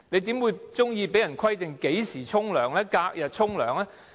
誰會喜歡被規定何時洗澡，或是隔日洗澡呢？